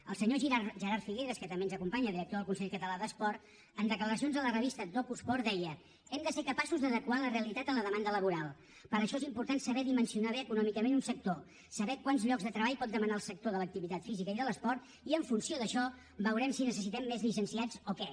el senyor gerard figueras que també ens acompanya director del consell català d’esport en declaracions a la revista docusport deia hem de ser capaços d’adequar la realitat a la demanda laboral per això és important saber dimensionar bé econòmicament un sector saber quants llocs de treball pot demanar el sector de l’activitat física i de l’esport i en funció d’això veurem si necessitem més llicenciats o què